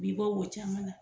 b'i bɔ wo caman na.